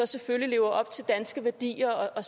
selvfølgelig lever op til danske værdier og